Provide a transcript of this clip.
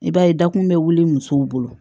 I b'a ye dakun bɛ wuli musow bolo